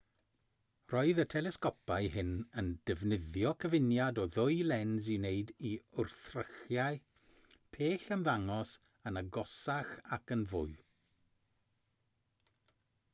roedd y telesgopau hyn yn defnyddio cyfuniad o ddwy lens i wneud i wrthrychau pell ymddangos yn agosach ac yn fwy